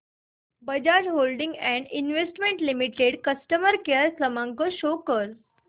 Bajaj Holdings and Investment Limited customer care क्रमांक show कर